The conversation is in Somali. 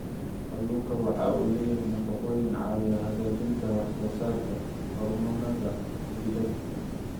Kalluunku waxa uu leeyahay nafaqooyin caawiya hagaajinta wax soo saarka hormoonnada jidhka.